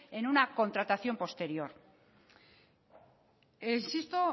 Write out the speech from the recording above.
en una contratación posterior insisto